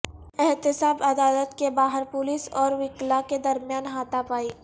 احتساب عدالت کے باہر پولیس اور وکلا کے درمیان ہاتھا پائی